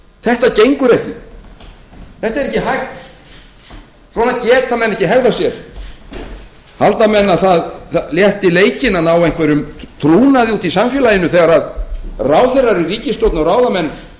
þetta gengur ekki þetta er ekki hægt svona geta menn ekki hegðað sér halda menn að það létti leikinn að ná einhverjum trúnaði úti í samfélaginu þegar ráðherrar í ríkisstjórn og ráðamenn